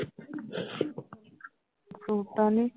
ਸੂਟਾਂ ਦੀ